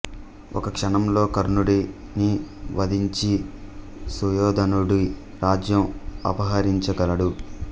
ఒక్క క్షణంలో కర్ణుడిని వధించి సుయోధనుడి రాజ్యం అపహరించ గలడు